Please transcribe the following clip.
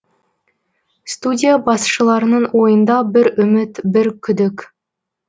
студия басшыларының ойында бір үміт бір күдік